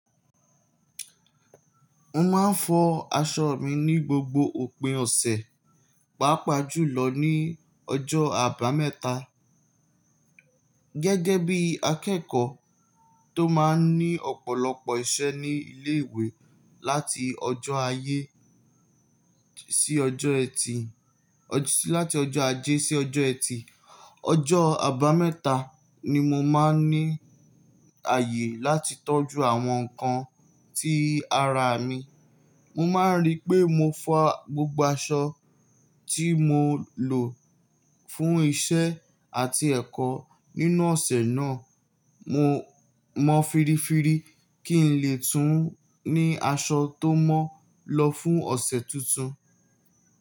Mo máa ń fọ aṣọ mi ní gbogbo òpin ọ̀sẹ̀, pàápàá jùlọ ní ọjọ́ àbámẹ́ta. Gẹ́gẹ́ bí akẹ́kọ̀ọ́ tó máa ń ní ọ̀pọ̀lọpọ̀ iṣẹ́ ní ilé ìwé láti ọjọ́ ajé sí ọjọ́ ẹtì, ọjọ́ àbámẹ́ta ni mo máa ń ní àyè láti tọ́jú àwọn nǹkan tí ara mi. Mo máa ń rí pé mo fo gbogbo aṣọ tí mo lò fún iṣẹ́ àti ẹ̀kọ́ nínú ọ̀sẹ̀ náà, mo mọ́ fíríífí kí n lè tún ní aṣọ tó mọ́ lọ fún ọ̀sẹ̀ tuntun.